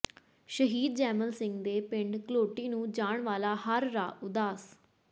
ਸ਼ਹੀਦ ਜੈਮਲ ਸਿੰਘ ਦੇ ਪਿੰਡ ਘਲੋਟੀ ਨੂੰ ਜਾਣ ਵਾਲਾ ਹਰ ਰਾਹ ਉਦਾਸ